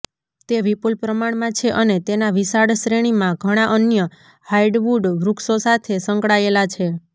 તે વિપુલ પ્રમાણમાં છે અને તેના વિશાળ શ્રેણીમાં ઘણાં અન્ય હાર્ડવુડ વૃક્ષો સાથે સંકળાયેલા છે